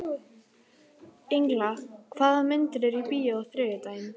Engla, hvaða myndir eru í bíó á þriðjudaginn?